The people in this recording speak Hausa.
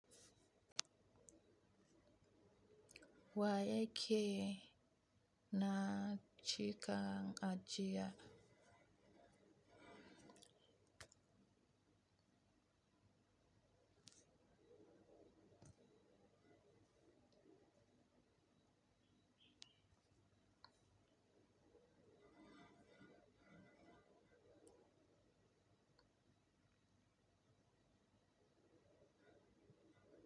Wa yake na cika ajiya.